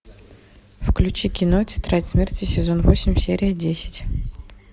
включи кино тетрадь смерти сезон восемь серия десять